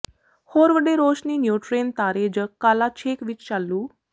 ਹੋਰ ਵੱਡੇ ਰੌਸ਼ਨੀ ਨਿਉਟ੍ਰੋਨ ਤਾਰੇ ਜ ਕਾਲਾ ਛੇਕ ਵਿੱਚ ਚਾਲੂ